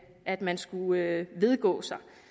at man skulle vedgå